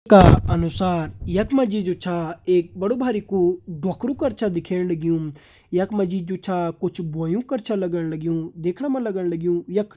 चित्र का अनुसार यख मा जी जु छा एक बड़ु बारिकु ढोकरू कर छ दिखेण लग्युं यख मा जी जु छा कुछ बोयूं कर छा लगण लग्युं देखण मा लगण लग्युं यख --